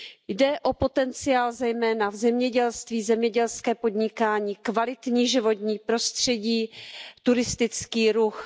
Jde o potenciál zejména v zemědělství, zemědělském podnikání, kvalitním životním prostředí, turistickém ruchu.